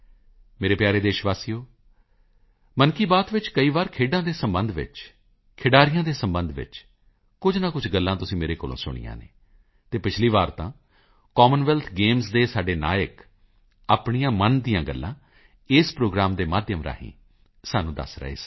ਮੇਰੇ ਪਿਆਰੇ ਦੇਸ਼ ਵਾਸੀਓ ਮਨ ਕੀ ਬਾਤ ਵਿੱਚ ਕਈ ਵਾਰੀ ਖੇਡਾਂ ਦੇ ਸਬੰਧ ਵਿੱਚ ਖਿਡਾਰੀਆਂ ਦੇ ਸਬੰਧ ਵਿੱਚ ਕੁਝ ਨਾ ਕੁਝ ਗੱਲਾਂ ਤੁਸੀਂ ਮੇਰੇ ਕੋਲੋਂ ਸੁਣੀਆਂ ਹਨ ਅਤੇ ਪਿਛਲੀ ਵਾਰ ਤਾਂ ਕਾਮਨ ਵੈਲਥ ਗੇਮਜ਼ ਦੇ ਸਾਡੇ ਨਾਇੱਕ ਆਪਣੀਆਂ ਮਨ ਦੀਆਂ ਗੱਲਾਂ ਇਸ ਪ੍ਰੋਗਰਾਮ ਦੇ ਮਾਧਿਅਮ ਰਾਹੀਂ ਸਾਨੂੰ ਦੱਸ ਰਹੇ ਸਨ